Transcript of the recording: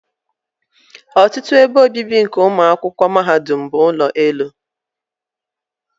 ọtụtụ ebe obibi nke ụmụ akwụkwọ mahadum bụ ụlọ elu.